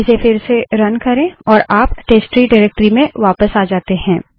इसे फिर से रन करे और आप टेस्टट्री डाइरेक्टरी में वापस आ जाते हैं